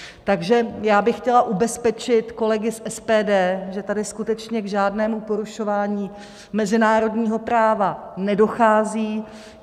Takže já bych chtěla ubezpečit kolegy z SPD, že tady skutečně k žádnému porušování mezinárodního práva nedochází.